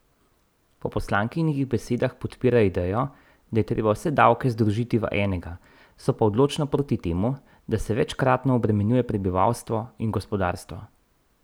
Po poslankinih besedah podpirajo idejo, da je treba vse davke združiti v enega, so pa odločno proti temu, da se večkratno obremenjuje prebivalstvo in gospodarstvo.